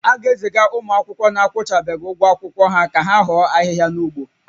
A ga-eziga ụmụ akwụkwọ na-akwụbeghị ụgwọ akwụkwọ ha ka ha hoo ahịhịa n'ugbo